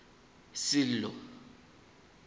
sello